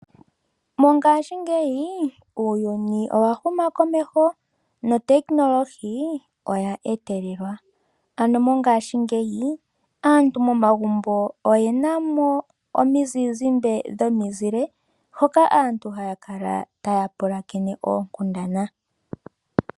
Mongashingeyi uuyuni owahuma komeho nehumokomeho olya etelelwa. Ano mongashingeyi aantu momagumbo oyena mo omizizimbe dhomizile hoka aantu haya kala taya pulakene oonkundana.